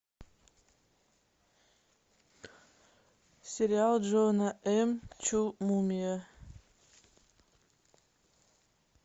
сериал джона м чу мумия